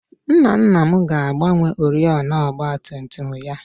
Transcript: Nna nna m ga-agbanwe oriọna ọgbatumtum ya echi